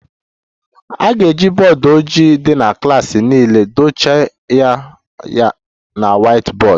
A ga-eji bọọdụ ojii dị na klas niile dochie ya na whiteboard